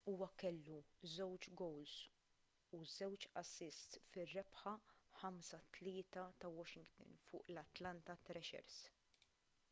huwa kellu 2 gowls u 2 assists fir-rebħa 5-3 ta' washington fuq l-atlanta thrashers